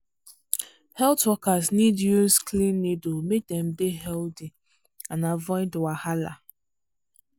health workers need use clean needle make dem dey healthy and avoid wahala.